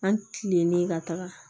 An kilennen ka taga